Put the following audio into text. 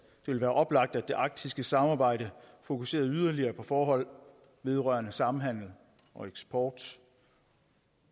ville være oplagt at det arktiske samarbejde fokuserede yderligere på forhold vedrørende samhandel og eksport